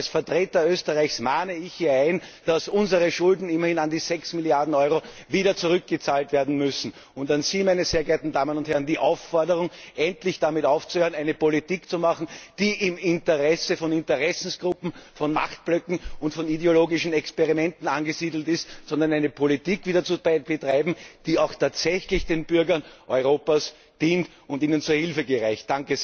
Aber als Vertreter Österreichs mahne ich hier an, dass der uns geschuldete Betrag, immerhin an die 6 Milliarden Euro, wieder zurückgezahlt werden muss. An Sie, meine sehr geehrten Damen und Herren, die Aufforderung, endlich damit aufzuhören, eine Politik zu machen, die im Interesse von Interessensgruppen, von Machtblöcken und von ideologischen Experimenten angesiedelt ist, sondern wieder eine Politik zu betreiben, die auch tatsächlich den Bürgern Europas dient und ihnen zur Hilfe gereicht.